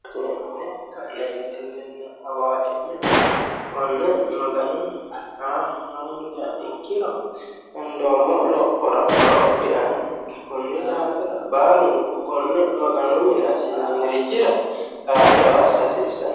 Cee'mine ka'neentinnina awaaqi'ne konne maganu aa hoongiha ikkiro hendoommo lophora horo diaanonke konni daafira baalunku konne maganu mine assinanirichira kaa'lo assa hasiissano.